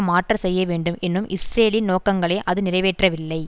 மாற்றச் செய்ய வேண்டும் என்னும் இஸ்ரேலின் நோக்கங்களை அது நிறைவேற்றவில்லை